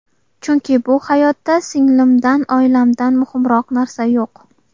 Chunki bu hayotda singlimdan, oilamdan muhimroq narsa yo‘q.